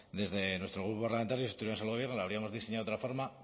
desde nuestro grupo parlamentario si estuviéramos en el gobierno lo habríamos diseñado de otra forma